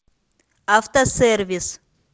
автосервис